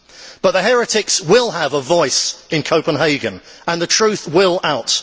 But the heretics will have a voice in Copenhagen and the truth will out.